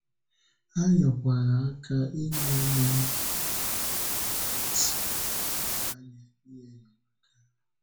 Ha nyerekwa aka inye ụmụ̀nnà anyị ndị na-ahụ́si ànyà ihe enyemaka.